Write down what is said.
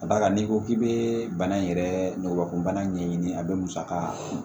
Ka d'a kan n'i ko k'i bɛ bana in yɛrɛ nɔgɔkun bana ɲɛɲini a bɛ musaka